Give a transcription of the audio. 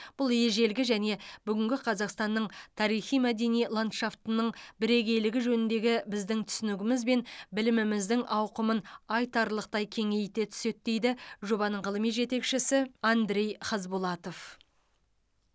бұл ежелгі және бүгінгі қазақстанның тарихи мәдени ландшафтының бірегейлігі жөніндегі біздің түсінігіміз бен біліміміздің ауқымын айтарлықтай кеңейте түседі дейді жобаның ғылыми жетекшісі андрей хазбулатов